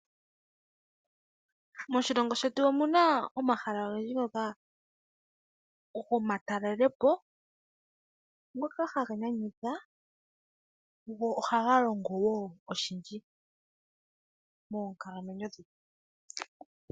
Moshilongo shetu omu na omahala ogendji gomatalelepo ngoka haga nyanyudha go ohaga longo woo oshindji monkalamwenyo dhetu.